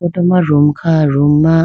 atu ma room kha room ma.